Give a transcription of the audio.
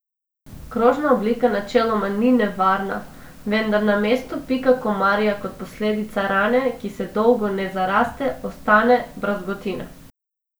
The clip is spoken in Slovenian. Kožna oblika načeloma ni nevarna, vendar na mestu pika komarja kot posledica rane, ki se dolgo ne zaraste, ostane brazgotina.